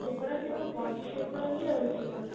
ସେ ପୁରା ସେ ଗୋଟେ body shape ର ହିଁ ରହିଛି ଗୋଟେ